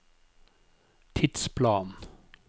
tidsplan